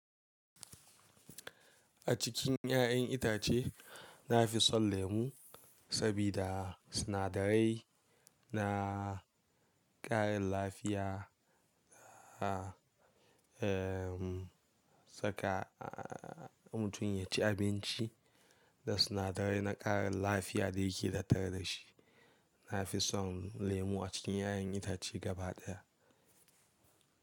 A cikin 'ya'yan itace nafi son lemu sabida sinadarai na ƙarin lafiya, saka mutum ya ci abinci da sinadarai na ƙarin lafiya da yake tattare da shi. Nafi son lemu a cikin 'ya'yan itace gaba daya.